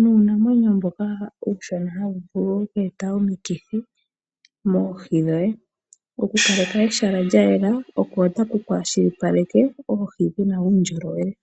nuunamwenyo mboka uushona hawu vulu okweeta omikithi mooho dhoye. Okukaleka ehala lyayela oko taku kwaashilipaleke oohi dhina uundjolowele.